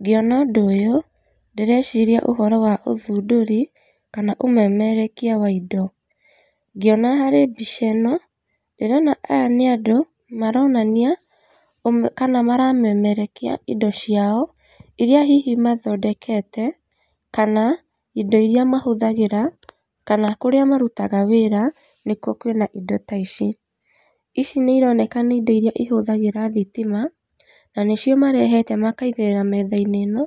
Ngĩona ũndũ ũyũ ndĩreciria ũhoro wa ũthundũri kana ũmemerekia wa indo, ngĩona harĩ mbica ĩno ndĩrona aya nĩ andũ maronania kana maramemerekia indo ciao iria hihi mathondekete kana indo iria mahũthagĩra kana kũrĩa marutaga wĩra nĩkũo kũĩna indo ta ici. Ici nĩ ironeka nĩ indo iria ihũthagĩra thitima na nĩcio marehete makaigĩrĩra metha-inĩ ĩno,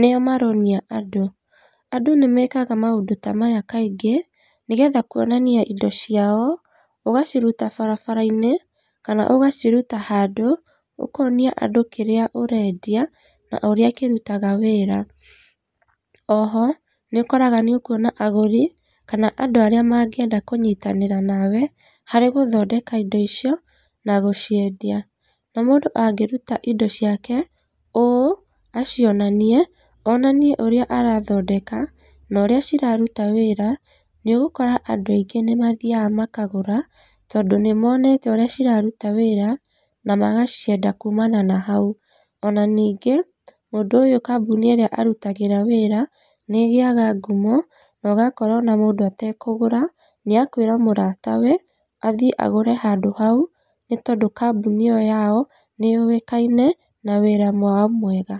nĩyo maronia andũ. Andũ nĩmekaga maũndũ ta maya kaingĩ nĩgetha kuonania indo ciao ũgaciruta barabara-inĩ kana ũgaciruta handũ ũkonia andũ kĩrĩa ũrendia na ũrĩa kĩrutaga wĩra. Oho nĩukóraga nĩukuona agũri kana andũ arĩa mangĩenda kũnyitanĩra nawe harĩ gũthondeka indo icio na gũciendia na mũndũ angĩruta indo ciake ũũ acionanie, onanie ũrĩa arathondeka na ũrĩa ciraruta wĩra nĩũgũkora andũ aingĩ nĩmathiaga makagũra tondũ nĩmonete ũrĩa ciraruta wĩra na magacienda kumana na hau. Ona ningĩ mũndũ ũyũ kambuni ĩrĩa arutagĩra wĩra nĩ ĩgĩaga ngumo na ũgakora ona mũndũ atekũgũra nĩakũĩra mũratawe athie agũre handũ hau nĩ tondũ kambuni ĩyo yao nĩyũwĩkaine na wĩra wao mwega.